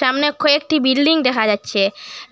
সামনে খয়েকটি বিল্ডিং দেহা যাচ্ছে